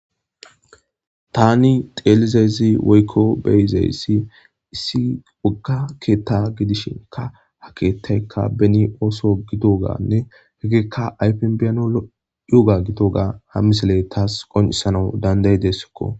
tani xeelizayzi woykko beyizayssi issi wogga keetta gidishinka ha keettaykka beni ooso gido gaanne hekekka aypin biyano yoga gito ga ha misiley taas qonisanawu dandayi dessakko